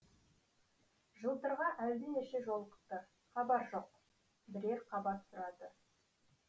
жылтырға әлденеше жолықты хабар жоқ бірер қабат сұрады